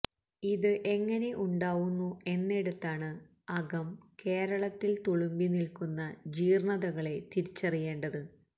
ഇത് എങ്ങനെ ഉണ്ടാവുന്നു എന്നിടത്താണ് അകം കേരളത്തില് തുളുമ്പി നില്ക്കുന്ന ജീര്ണതകളെ തിരിച്ചറിയേണ്ടത്